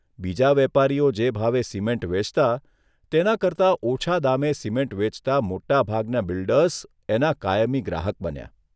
બીજા વેપારીઓ જે ભાવે સિમેન્ટ વેચતા તેના કરતાં ઓછા દામે સિમેન્ટ વેચતા મોટાભાગના બિલ્ડર્સ એના કાયમી ગ્રાહક બન્યા.